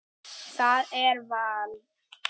Hvernig skal bera þá fram?